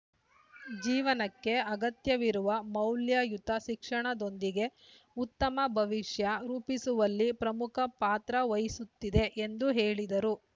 ಜೀವನಕ್ಕೆ ಅಗತ್ಯವಿರುವ ಮೌಲ್ಯಯುತ ಶಿಕ್ಷಣದೊಂದಿಗೆ ಉತ್ತಮ ಭವಿಷ್ಯ ರೂಪಿಸುವಲ್ಲಿ ಪ್ರಮುಖ ಪಾತ್ರ ವಹಿಸುತ್ತಿದೆ ಎಂದು ಹೇಳಿದರು